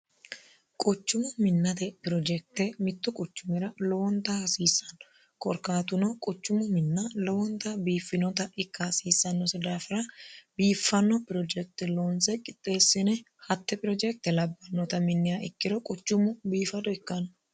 quchumu minnate pirojekte mittu quchumira lowonta hasiissanno korkaatuno quchummu minna lowonta biiffinota ikka hasiissannose daafira biiffanno pirojekte loonse qixxeessine hatte pirojekte labbannota minniha ikkiro quchummu biifado ikkanno